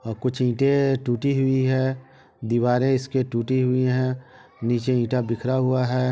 और कुछ ईंटे टूटी हुई है। दीवारे इसके टूटी हुई हैं। नीचे ईटा बिखरा हुआ है।